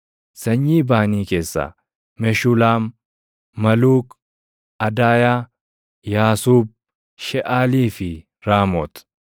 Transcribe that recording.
Sanyii Baanii keessaa: Meshulaam, Maluuk, Adaayaa, Yaasuub, Sheʼaalii fi Raamoot.